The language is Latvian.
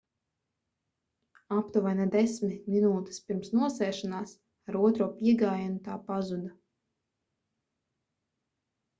aptuveni desmit minūtes pirms nosēšanās ar otro piegājienu tā pazuda